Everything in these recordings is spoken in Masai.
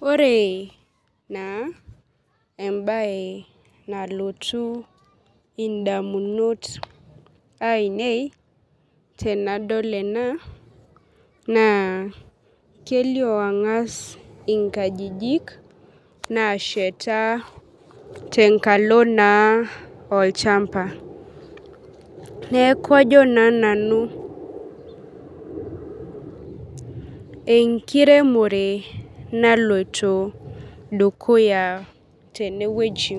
Ore na embae nalotu ndamunot ainei tenadol ena na kelio angas nkajijik nasheta tenkalo naolchamba neaku ajo na nanu enkiremore naloito dukuya tenewueji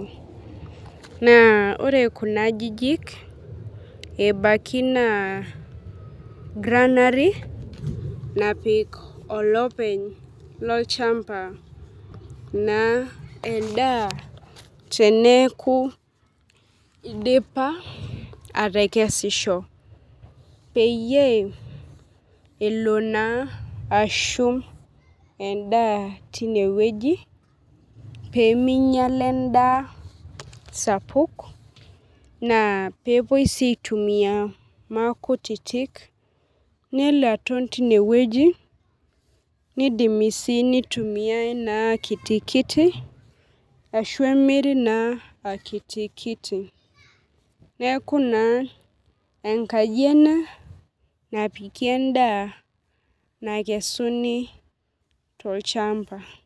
na ore kuna ajijik ebaki na granery napik olopeny endaa teneaku idipa atekesisho peyie elo ana ashumbendaa tinewueji peminyela endaa sapuk na pepuoi aitumia makutitik nelo aton aton tinewueji ashu emiri na akitikiti neaku na enkaji ena napiki endaaa nakesuni tolchamba.